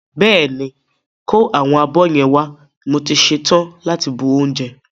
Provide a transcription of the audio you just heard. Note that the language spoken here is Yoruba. Bẹ́ẹ̀ ni, kó àwọn abọ́ yẹn wá mo ti ṣe tán láti bu oúnjẹ.